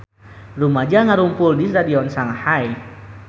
Rumaja ngarumpul di Stadion Shanghai